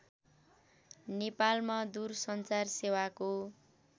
नेपालमा दूरसञ्चार सेवाको